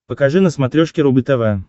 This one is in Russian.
покажи на смотрешке рубль тв